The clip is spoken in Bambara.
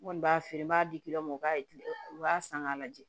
N kɔni b'a feere n b'a di ma u b'a tilɛ u b'a san k'a lajɛ